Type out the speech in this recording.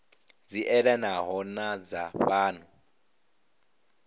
dzi elanaho na dza fhano